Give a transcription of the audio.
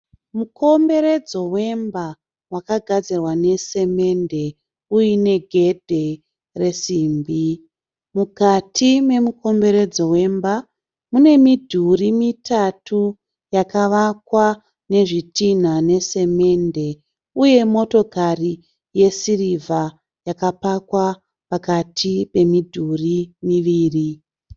Mukomberedzo wemba wakagadzirwa nesemende uine gedhe resimbi. Mukati memukomberedzo wemba mune midhuri mitatu yakavakwa nezvitinha nesemende uye motokari yesirivha yakapakwa pakati pemidhurí miviri.